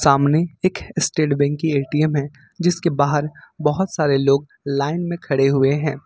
सामने एक state bank की ए_टी_एम है जिसके बाहर बहुत सारे लोग लाइन में खड़े हुए हैं।